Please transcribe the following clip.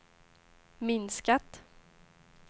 minskat